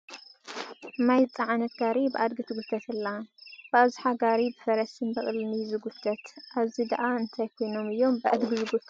ማይ ዝፀዓነት ጋሪ ብኣድጊ ትጉተት ኣላ፡፡ ብኣብዝሓ ጋሪ ብፈረስን በቕልን እዩ ዝጉተት፡፡ ኣብዚ ድኣ እንታይ ኮይኖም እዮም ብኣድጊ ዝጐቱ ዘለዉ?